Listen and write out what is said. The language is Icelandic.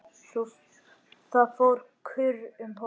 Það fór kurr um hópinn.